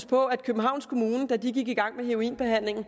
på at da københavns kommune gik i gang med heroinbehandlingen